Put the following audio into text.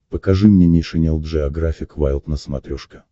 покажи мне нейшенел джеографик вайлд на смотрешке